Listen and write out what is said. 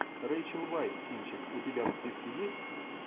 рейчел вайс кинчик у тебя в списке есть